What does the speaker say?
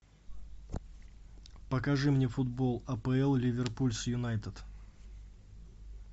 покажи мне футбол апл ливерпуль с юнайтед